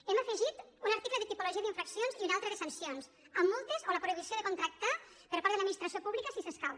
hem afegit un article de tipologia d’infraccions i un altre de sancions amb multes o la prohibició de contractar per part de l’administració pública si s’escau